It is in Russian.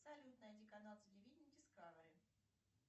салют найди канал телевидения дискавери